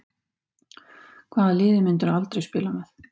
Hvaða liði myndirðu aldrei spila með?